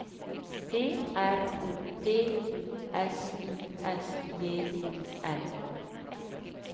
P R O P O S I S J O N